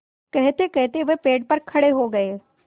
कहतेकहते वह पेड़ पर खड़े हो गए